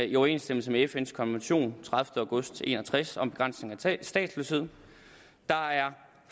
i overensstemmelse med fns konvention af tredivete august nitten en og tres om begrænsning af statsløshed der er